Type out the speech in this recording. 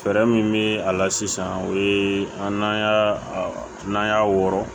Fɛɛrɛ min bɛ a la sisan o ye an n'an y'a n'an y'a wɔrɔ